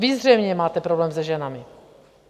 Vy zřejmě máte problém se ženami.